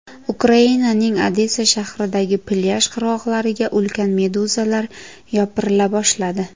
Ukrainaning Odessa shahridagi plyaj qirg‘oqlariga ulkan meduzalar yopirila boshladi.